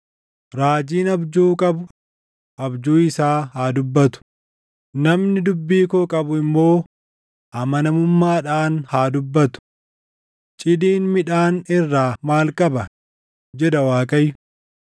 Raajiin abjuu qabu abjuu isaa haa dubbatu; namni dubbii koo qabu immoo amanamummaadhaan haa dubbatu. Cidiin midhaan irraa maal qaba?” jedha Waaqayyo.